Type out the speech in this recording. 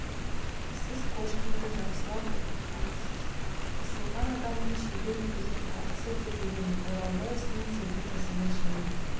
сіз кошкинді жақсылап оқытқансыз ысылған адамның шебер өткізген тартысы деп білемін оралбай ісінен сіздің ісіңіз жеңіл